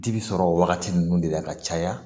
Ji bi sɔrɔ wagati minnu de la ka caya